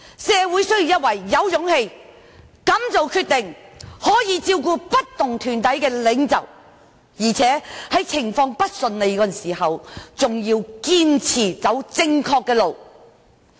社會需要一位具備勇氣、敢作決定，以及能照顧不同團體的領袖，而且在情況不順利時更要堅持走正確的路。